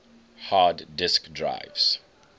hard disk drives